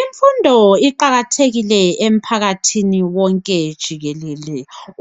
Imfundo iqakathekile emphakathini wonke jikelele